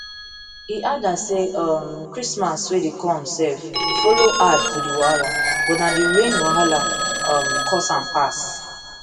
e adda say um christmas wey dey come self follow add to di wahala but na di rain wahala um cause am pass